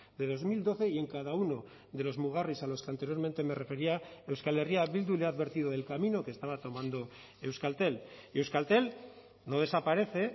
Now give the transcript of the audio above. de dos mil doce y en cada uno de los mugarris a los que anteriormente me refería euskal herria bildu le ha advertido del camino que estaba tomando euskaltel y euskaltel no desaparece